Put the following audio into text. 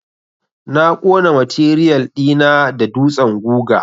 Na ƙona matiriyal ɗi na da dutsen guga.